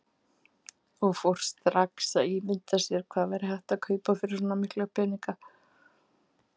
Og fór strax að ímynda sér hvað hægt væri að kaupa fyrir svo mikla peninga.